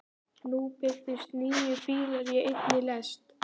Nú birtust níu bílar í einni lest.